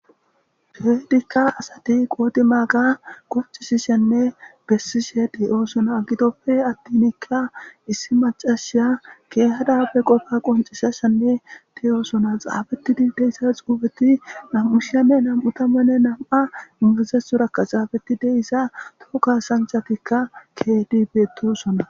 feedikka asati qoodi maaga qoccisishenne bessishedioosona gidoppe attinikka issi macashiya keehadabe qofa qoncishashenne teyoosona xaafetidi deyssa xuubeti nam7ushiyame nam7u tammanne nam7a ingizesu rakka xaabeti deyssa tokka sanchatikka kedibetosona